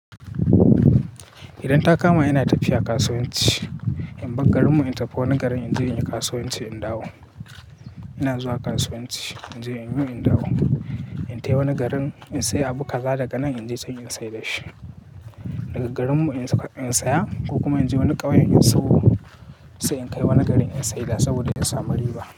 Idan ta kama ina tafiya kasuwanci, in bar garinmu in tafi wani garin in je in yi kasuwanci in dawo. Ina zuwa kasuwanci in je in yi in dawo. In tafi wani garin in sayi abu kaza daga nan in je can in sayar da shi. Daga garinmu in saya ko kuma in je wani ƙauye in sayo sai in kai wani garin in sayar saboda in samu riba.